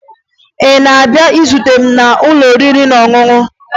Ị na-abịa izute m n'ụlọ oriri na ọṅụṅụ?